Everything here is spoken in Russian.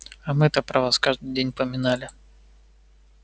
а мы-то про вас каждый день поминали